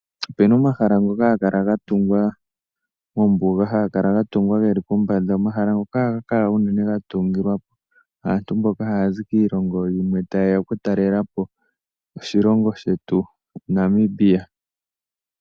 Opuna omahala ngoka haga kala gatumwa mombuga haga kala gatumwa geli pombanda. Omahala ngoka ohaga kala unene gatungilwa aantu mboka haya zi kiilongo yimwe ta yeya okutalelapo oshilongo shetu Namibia.